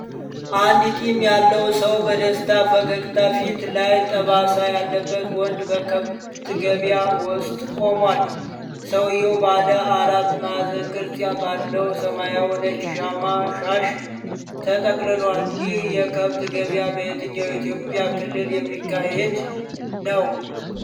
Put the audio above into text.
አንድ ጢም ያለው ሰው በደስታ ፈገግታ ፊቱ ላይ ጠባሳ ያለበት ወንድ በከብት ገበያ ውስጥ ቆሟል። ሰውየው ባለ አራት ማዕዘን ቅርጽ ባለው ሰማያዊና ነጭ ሻማ (ሻሽ) ተጠቅልሏል። ይህ የከብት ገበያ በየትኛው የኢትዮጵያ ክልል የሚካሄድ ነው?